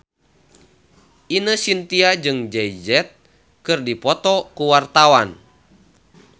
Ine Shintya jeung Jay Z keur dipoto ku wartawan